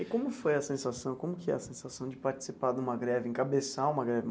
E como foi a sensação, como que é a sensação de participar de uma greve, encabeçar uma greve?